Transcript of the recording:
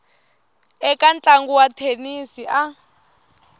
eka ntlangu wa thenisi a